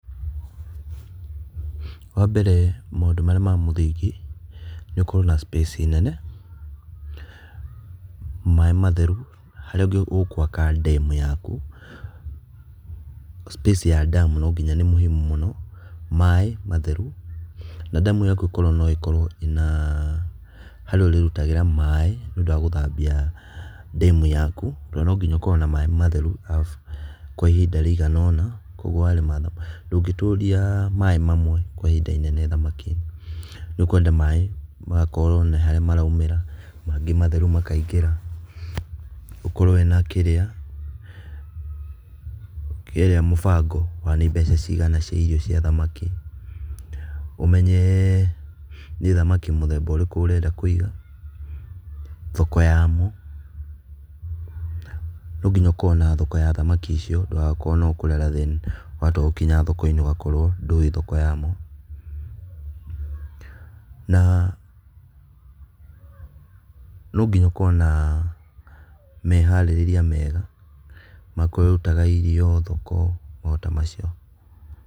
Wa mbere maũndũ marĩa ma mũthingi nĩ ũkorwo na space nene, maĩ matheru harĩa ũgũaka ndemu yaku. Space ya ndemu no nginya nĩ mũhimu mũno maĩ matheru na ndemu yaku ĩkorwo no ĩkorwo na harĩa ũrĩrutagĩra maĩ nĩ aũndũ wa gũthambia ndemu yaku. Na nonginya ũkorwo na maĩ matheru kwa ihinda rĩigana ũna, koguo warĩma thamaki, ndũngĩtũria maĩ mamwe kwa ihinda inene thamaki. Nĩ ũkwenda maĩ magakorwo na harĩa maraumagĩra mangĩ matheru makaingĩra. ũkorwo wĩna kirĩa mũbango wa nĩ mbeca cigana cia irio cia thamaki. Ũmenye nĩ thamaki mũthemba ũrĩkũ ũrenda kũiga, thoko ya mo no nginya ũkorwo na thoko ya thamaki icio ndũgagĩkorwo no kũrera then watua gũkinya thoko-inĩ ũgakorwo ndũĩ thoko yamo . Na no nginya ũkorwo na meharĩrĩria mega, makũrĩa ũrĩrutaga irio thoko maũndũ ta macio.